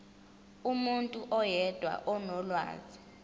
umuntu oyedwa onolwazi